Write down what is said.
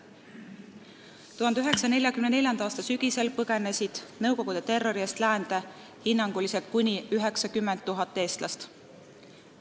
1944. aasta sügisel põgenes nõukogude terrori eest läände hinnanguliselt kuni 90 000 eestlast.